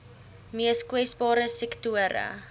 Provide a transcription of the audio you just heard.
mees kwesbare sektore